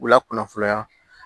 U lakunnafoniya